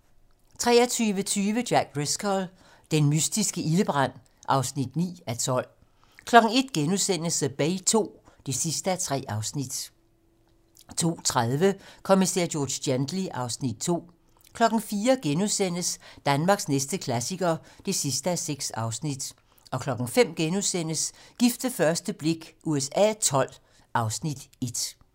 23:20: Jack Driscoll - den mystiske ildebrand (9:12) 01:00: The Bay II (3:3)* 02:30: Kommissær George Gently (Afs. 2) 04:00: Danmarks næste klassiker (6:6)* 05:00: Gift ved første blik USA XII (Afs. 1)*